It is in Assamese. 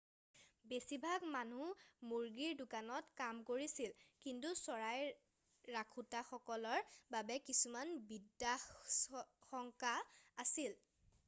বেছিভাগ মানুহ মুৰ্গীৰ দোকানত কাম কৰিছিল কিন্তু চৰাই ৰাখোঁতাসকলৰ বাবে কিছুমান বিপদাশঙ্কা আছিল